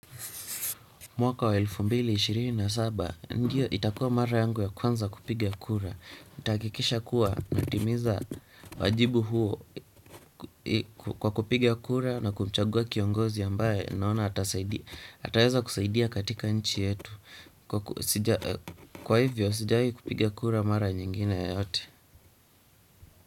Mwaka wa elfu mbili na ishirini na saba, ndio itakuwa mara yangu ya kwanza kupigia kura. Nitahakikisha kuwa natimiza wajibu huo kwa kupigia kura na kumchagua kiongozi ambaye naona ataeza kusaidia katika nchi yetu. Kwa hivyo, sijawahi kupiga kura mara nyingine yoyote.